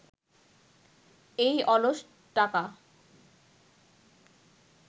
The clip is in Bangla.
এই অলস টাকা